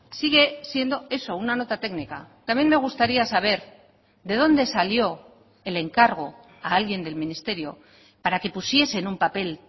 sigue siendo eso una nota técnica también me gustaría saber de dónde salió el encargo a alguien del ministerio para que pusiese en un papel